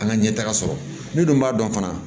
An ka ɲɛtaga sɔrɔ ne dun b'a dɔn fana